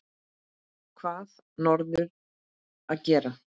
Hvað á norður að gera?